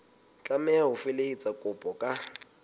tlameha ho felehetsa kopo ka